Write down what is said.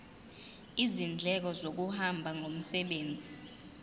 izindleko zokuhamba ngomsebenzi